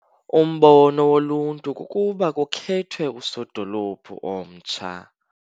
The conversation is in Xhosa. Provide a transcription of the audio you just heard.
Umbono woluntu kukuba kukhethwe usodolophu omtsha.